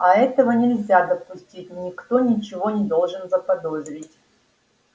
а этого нельзя допустить никто ничего не должен заподозрить